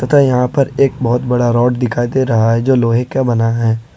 तथा यहां पर एक बहुत बड़ा रॉड दिखाई दे रहा है जो लोहे का बना है।